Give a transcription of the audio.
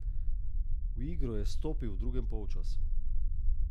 V igro je vstopil v drugem polčasu.